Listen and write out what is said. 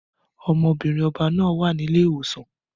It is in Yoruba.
Ọmọbìnrin ọba náà wà ní ilé ìwòsàn